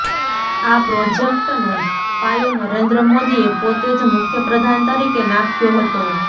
આ પ્રોજેક્ટનો પાયો નરેન્દ્ર મોદીએ પોતે જ મુખ્યપ્રધાન તરીકે નાખ્યો હતો